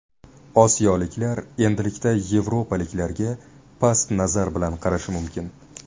Osiyoliklar endilikda yevropaliklarga past nazar bilan qarashi mumkin”.